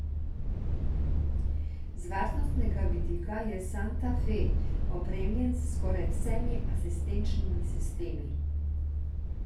Z varnostnega vidika je santa fe opremljen s skoraj vsemi asistenčnimi sistemi.